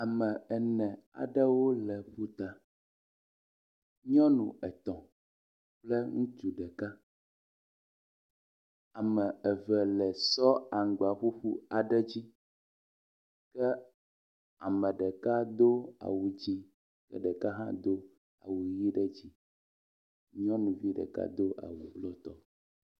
Ame ene aɖewo le gota. Nyɔnu etɔ̃ kple ŋutsu ɖeka. Ame eve le sɔ aŋgbaƒuƒu aɖe dzi ke ame ɖeka do awu dzɛ̃, ame ɖeka hã awu ʋi ɖe dzi, nyɔnuvi ɖeka do awu blutɔ.